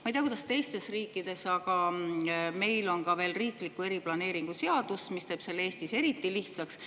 Ma ei tea, kuidas on teistes riikides, aga meil on ka veel seadus, mis teeb selle Eestis eriti lihtsaks.